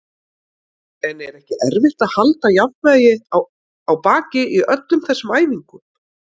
En er ekki erfitt að halda jafnvægi á baki í öllum þessum æfingum?